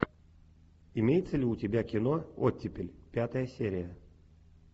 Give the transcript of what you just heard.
имеется ли у тебя кино оттепель пятая серия